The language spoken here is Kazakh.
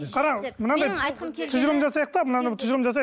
тұжырым жасайық та мынаны енді тұжырым жасайық